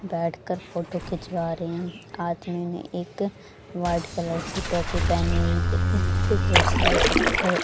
बैठ कर फोटो खिंचवा रहे हैं आदमी ने एक वाइट कलर की टोपी पहनी हुई यहां पे बहुत सारे पत्थर--